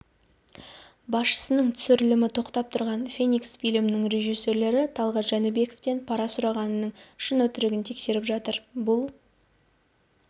басшысының түсірілімі тоқтап тұрған феникс фильмінің режиссері талғат жәнібековтен пара сұрағанының шын-өтірігін тексеріп жатыр бұл